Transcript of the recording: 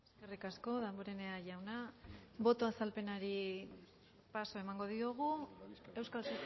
eskerrik asko damborenea jauna boto azalpenari paso emango diogu euskal